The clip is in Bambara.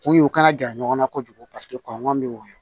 Kun ye u kana gɛrɛ ɲɔgɔn na kojugu paseke kɔngɔ bɛ woyɔ